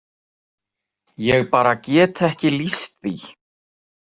Ég bara get ekki lýst því.